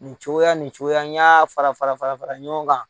Nin cogoya nin cogoya, ni y'a fara fara fara fara ɲɔgɔn kan.